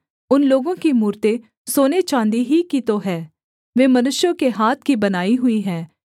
उन लोगों की मूरतें सोने चाँदी ही की तो हैं वे मनुष्यों के हाथ की बनाई हुई हैं